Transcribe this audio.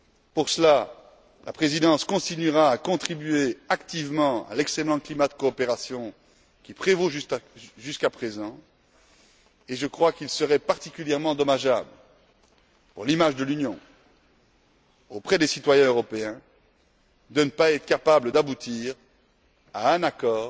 Pour cela, la Présidence continuera à contribuer activement à l'excellent climat de coopération qui prévaut jusqu'à présent, et je crois qu'il serait particulièrement dommageable pour l'image de l'Union, auprès des citoyens européens, de ne pas être capables d'aboutir à un accord